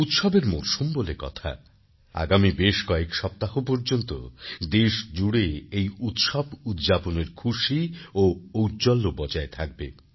উৎসবের মরসুম বলে কথাআগামী বেশ কয়েক সপ্তাহ পর্যন্ত দেশ জুড়ে এই উৎসব উদ্যাপনের খুশি ও ঔজ্জ্বল্য বজায় থাকবে